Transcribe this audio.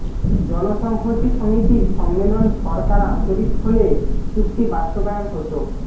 জনসংহতি সমিতির সম্মেলন সরকার আন্তরিক হলে চুক্তি বাস্তবায়ন হতো